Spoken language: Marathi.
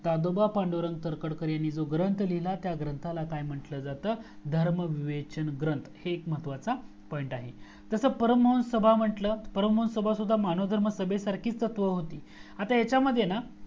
दादोबा पांडुरंग तरखडकर यांनी जो ग्रंथ लिहिला त्या ग्रंथला काय म्हंटलं जातं तर धर्म विवेचन ग्रंथ हे एक महत्वाचा point आहे जस परम हंस सभा म्हंटलं परम हंस सभा सुद्धा मानव धर्म सभे सारखीच तत्त्व होती आता हाच्या मध्ये ना